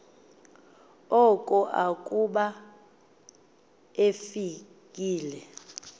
oko akuba efikile